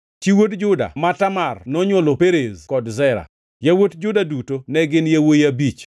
Chi wuod Juda ma Tamar nonywolone Perez kod Zera. Yawuot Juda duto ne gin yawuowi abich.